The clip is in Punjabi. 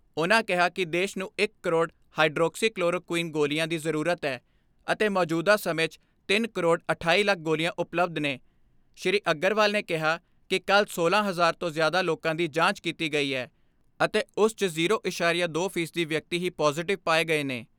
ਉਨ੍ਹਾਂ ਕਿਹਾ ਕਿ ਦੇਸ਼ ਨੂੰ ਇਕ ਕਰੋੜ ਹਾਈਡਰੋਕਸੀ ਕਲੋਰੋ ਕੁਈਨ ਗੋਲੀਆਂ ਦੀ ਜ਼ਰੂਰਤ ਐ ਅਤੇ ਮੌਜੂਦਾ ਸਮੇਂ 'ਚ ਤਿੰਨ ਕਰੋੜ ਅਠਾਈ ਲੱਖ ਗੋਲੀਆਂ ਉਪਲੱਬਧ ਨੇ ਸ੍ਰੀ ਅਗਰਵਾਲ ਨੇ ਕਿਹਾ ਕਿ ਕੱਲ੍ਹ ਸੋਲਾਂ ਹਜ਼ਾਰ ਤੋਂ ਜ਼ਿਆਦਾ ਲੋਕਾਂ ਦੀ ਜਾਂਚ ਕੀਤੀ ਗਈ ਐ ਅਤੇ ਉਸ 'ਚ ਜ਼ੀਰੋ ਐਸਾਰੀਆ ਦੋ ਫੀਸਦੀ ਵਿਅਕਤੀ ਹੀ ਪਾਜ਼ੇਟਿਵ ਪਾਏ ਗਏ ਨੇ।